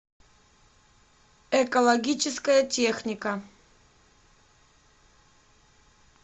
экологическая техника